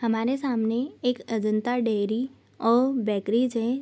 हमारे सामने एक अजंता डेयरी और बेकरीज है।